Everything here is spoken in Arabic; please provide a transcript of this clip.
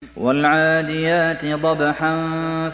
وَالْعَادِيَاتِ ضَبْحًا